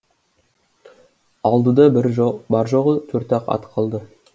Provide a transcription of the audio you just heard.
алдыда бар жоғы төрт ақ ат қалды